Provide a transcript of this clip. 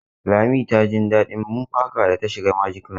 Lami ta jin daɗin bumper car da ta shiga magic land.